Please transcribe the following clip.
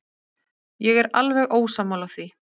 Ég er alveg ósammála því.